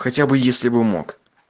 хотя бы если бы мог